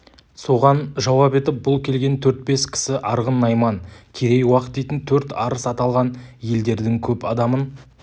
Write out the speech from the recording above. соған жауап етіп бұл келген төрт-бес кісі арғын найман керей уақ дейтін төрт арыс аталған елдердің көп адамын